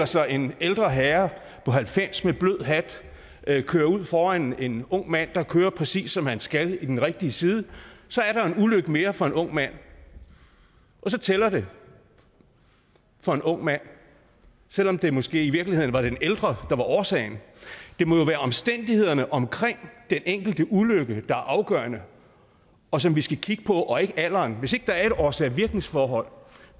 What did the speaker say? sig en ældre herre på halvfems med blød hat køre ud foran en ung mand der kører præcis som han skal i den rigtige side så er der en ulykke mere for en ung mand og så tæller det for en ung mand selv om det måske i virkeligheden var den ældre der var årsagen det må jo være omstændighederne omkring den enkelte ulykke der er afgørende og som vi skal kigge på og ikke alderen hvis ikke der er et årsag virkning forhold